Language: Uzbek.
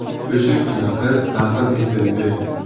O‘sha kuni qiz dafn etildi.